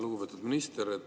Lugupeetud minister!